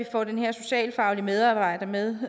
få den her socialfaglige medarbejder med